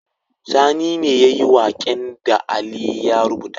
Sani ne yayi waƙen da ali ya rubuta